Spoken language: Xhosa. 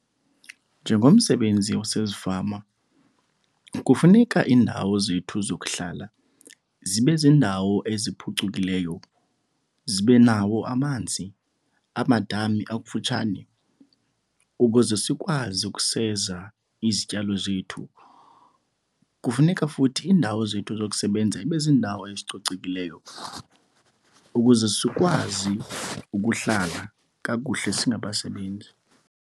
Njengomsebenzi wasezifama kufuneka iindawo zethu zokuhlala zibe ziindawo eziphucukileyo, zibe nawo amanzi, amadami akufutshane ukuze sikwazi ukuseza izityalo zethu. Kufuneka futhi iindawo zethu zokusebenza ibe ziindawo ezicocekileyo ukuze sikwazi ukuhlala kakuhle singabasebenzi.